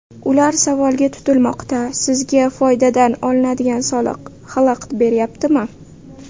Ular savolga tutilmoqda: sizga foydadan olinadigan soliq xalaqit bermayaptimi?